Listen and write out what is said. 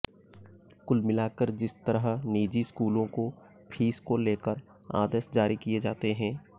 कुल मिलाकर जिस तरह निजी स्कूलों को फीस को लेकर आदेश जारी किए जाते हैं